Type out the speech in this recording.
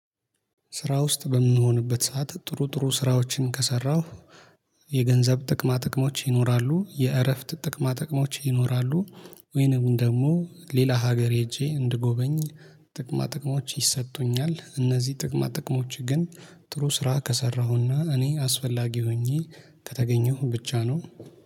ስራ ውስጥ በሚሆንበት ሰዓት ጥሩ ጥሩ ስራዎችን ከሰራሁ የገንዘብ ጥቅማ ጥቅሞች ይኖራሉ። የእረፍት ጥቅማ ጥቅሞች ይኖራሉ። ወይንም ደግሞ ሌላ ሀገር ሄጄ እንድጎበኝ ጥቅማ ጥቅሞች ይሰጡኛል። እነዚህ ጥቅማ ጥቅሞች ግን ጥሩ ስራ ከሰራሁና እኔ አስፈላጊ ሆኜ ከተገኘሁ ብቻ ነው።